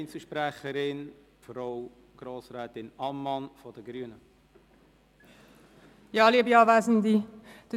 Wir stimmen der Motion zu und lehnen die Abschreibung ab. .